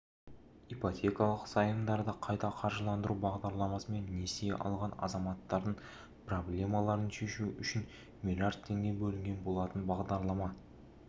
ипотекалық заемдарды қайта қаржыландыру бағдарламасымен несие алған азаматтардың проблемаларын шешу үшін млрд теңге бөлінген болатын бағдаралама